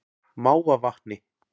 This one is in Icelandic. Mávavatni